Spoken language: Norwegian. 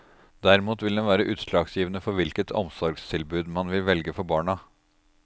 Derimot vil den være utslagsgivende for hvilket omsorgstilbud man vil velge for barna.